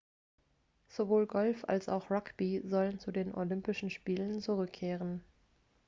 sowohl golf als auch rugby sollen zu den olympischen spielen zurückkehren